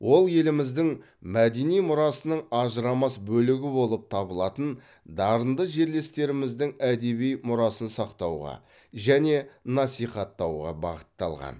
ол еліміздің мәдени мұрасының ажырамас бөлігі болып табылатын дарынды жерлестеріміздің әдеби мұрасын сақтауға және насихаттауға бағытталған